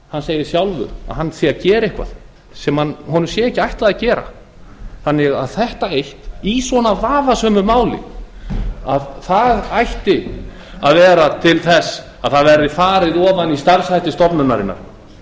hann segir sjálfur að hann sé að gera eitthvað sem honum sé ekki ætlað að gera þannig að þetta eitt í svona vafasömu máli það ætti að vera til þess að það verði farið ofan í starfshætti stofnunarinnar